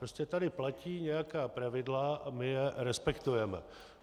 Prostě tady platí nějaká pravidla a my je respektujeme.